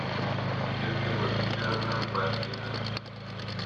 надежда владимировна байкина